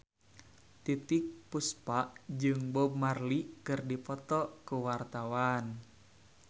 Titiek Puspa jeung Bob Marley keur dipoto ku wartawan